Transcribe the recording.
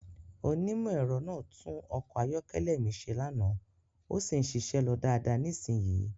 Onímọ̀-ẹ̀rọ náà tún ọkọ̀ ayọ́kẹ́lẹ́ mi ṣe lánàá, ó sì ń ṣiṣẹ́ lọ dáadáa nísìnyìí.